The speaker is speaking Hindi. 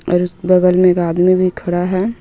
और इस बगल मे आदमी भी खड़ा हे.